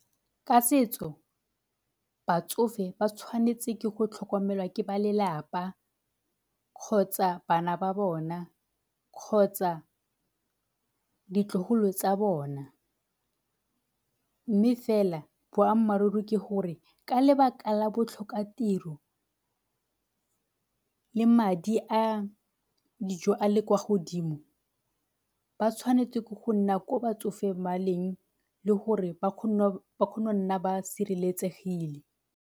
Ka setso batsofe ba tshwanetse ke go tlhokomelwa ke ba lelapa kgotsa bana ba bona kgotsa ditlogolo tsa bona, mme fela boammaaruri ke gore ka lebaka la botlhokatiro le madi a dijo a le kwa godimo ba tshwanetse ke go nna ko batsofe ba leng le gore ba kgone go nna ba sireletsegile.